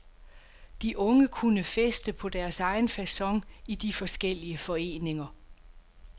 De unge kunne feste på deres egen facon i de forskellige foreninger.